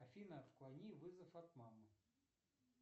афина отклони вызов от мамы